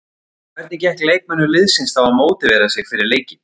En hvernig gekk leikmönnum liðsins þá að mótivera sig fyrir leikinn?